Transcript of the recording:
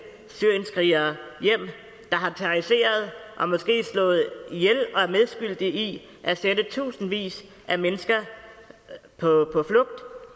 syrienskrigere der har terroriseret og måske slået ihjel og er medskyldige i at sende tusindvis af mennesker på